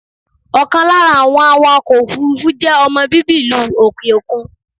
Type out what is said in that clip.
Ọ̀kan lára àwọn awàkọ̀ òfúrúfú je ọmọ bíbí ìlú òkè okun.